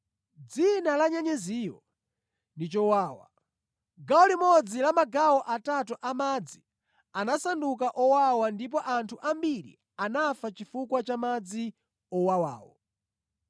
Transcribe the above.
Dzina la nyenyeziyo ndi Chowawa. Gawo limodzi la magawo atatu a madzi anasanduka owawa ndipo anthu ambiri anafa chifukwa cha madzi owawawo.